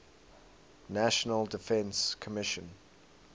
national defense commission